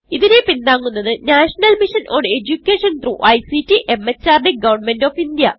ഇതിനെ പിന്താങ്ങുന്നത് national mission on education through ICT MHRD government of India